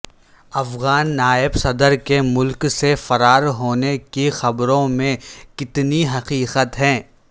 افغان نائب صدر کے ملک سے فرار ہونے کی خبروں میں کتنی حقیقت ہے